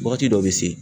Wagati dɔ bɛ se